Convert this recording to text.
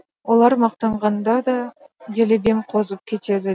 олар мақтанғанда да делебем қозып кетеді